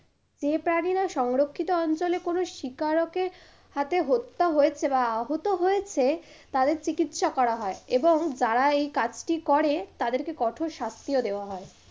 সংরক্ষিত অঞ্চলে কোনো শিকারকের হাতে হত্তা হয়েছে বা আহত হয়েছে তাদের চিকিৎসা করা হয়। এবং যারা এই কাজটি করে তাদেরকে কঠোর শাস্তিও দেয়া হয়।